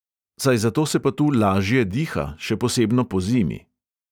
Saj zato se pa tu "lažje diha", še posebno pozimi.